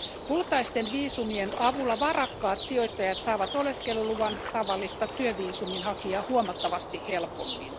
Kultaisten viisumien avulla varakkaat sijoittajat saavat oleskeluluvan tavallista työviisumin hakijaa huomattavasti helpommin.